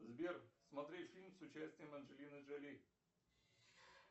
сбер смотреть фильм с участием анжелины джоли